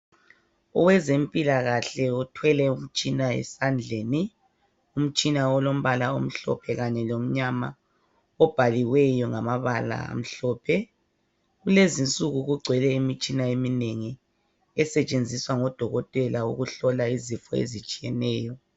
owezempilakahle uthwele umtshina esandleni umtshina olombala omhlophe kanye lomnyama obhaliweyo ngamabala amhlophe kulezinsuku kugcwele imitshina eminengi esetshenziswa ngodokotela ukuhlola izifo ezitshiyeneyo